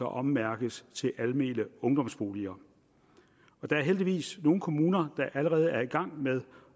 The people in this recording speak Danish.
ommærkes til almene ungdomsboliger der er heldigvis nogle kommuner der allerede er i gang med